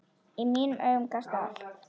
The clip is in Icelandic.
Í mínum augum gastu allt.